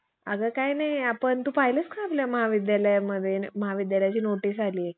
अगं काही नाही आपण तू पाहिलंस का आपल्या महाविद्यालयामध्ये महाविद्यालयाची नोटीस आलीये